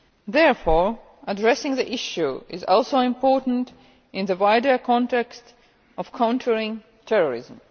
Therefore, addressing the issue is also important in the wider context of countering terrorism.